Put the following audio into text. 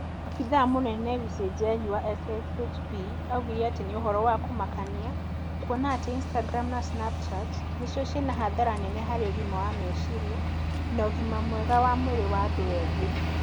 Abithaa mũnene wa Lucy Njeri wa SSHP augire atĩ nĩ ũhoro wa kũmakania kuona atĩ Instagram na Snapchat nĩcio ciĩna hathara nene harĩ ũgima wa meciria na ũgima mwega wa mwĩrĩ wa andũ ethĩ